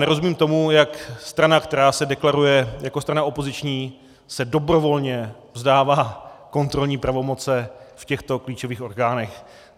Nerozumím tomu, jak strana, která se deklaruje jako strana opoziční, se dobrovolně vzdává kontrolní pravomoci v těchto klíčových orgánech.